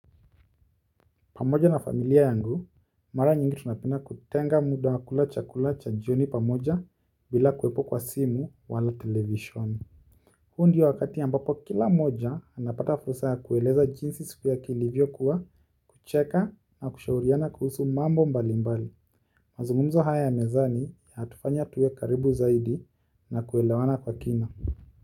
Pamoja na familia yangu, mara nyingi tunapenda kutenga muda wa kula chakula cha jioni pamoja bila kuwepo kwa simu wala television. Huu ndio wakati ambapo kila moja, anapata fursa ya kueleza jinsi siku yake ilivyo kuwa, kucheka na kushauriana kuhusu mambo mbali mbali. Mazungumzo haya ya mezani yatufanya tuwe karibu zaidi na kuelewana kwa kina.